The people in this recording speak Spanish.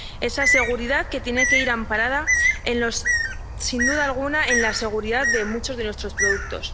Esa seguridad tiene que ir amparada, sin duda alguna, en la seguridad de muchos de nuestros productos.